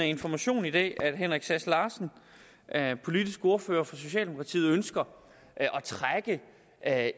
information i dag at herre henrik sass larsen politisk ordfører for socialdemokratiet ønsker at